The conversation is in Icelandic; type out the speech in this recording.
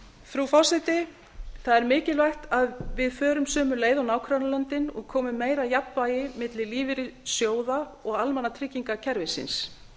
frú forseti það er mikilvægt að við förum sömu leið og nágrannalöndin og komum meira jafnvægi á milli lífeyrissjóða og almannatryggingakerfisins